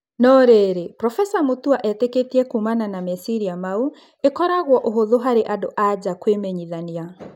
No-rĩrĩ Profesa Mũtua etĩkĩtie kuumana na meciiria mau, ĩkoragwo ũhũthũ harĩ and-a-nja kwĩmenyithania.